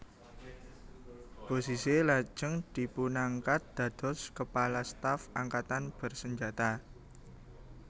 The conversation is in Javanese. Bozizé lajeng dipunangkat dados Kepala Staf Angkatan Bersenjata